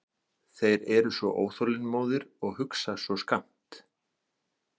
Þeir eru svo óþolinmóðir og hugsa svo skammt.